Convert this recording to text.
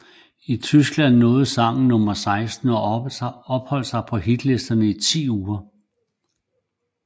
I Tyskland nåede sangen nummer 16 og opholdt sig på hitlisterne i ti uger